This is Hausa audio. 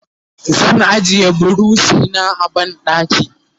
zan ajiye burushi na a banɗaki